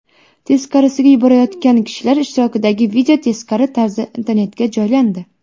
Teskarisiga yugurayotgan kishilar ishtirokidagi video teskari tarzda internetga joylandi .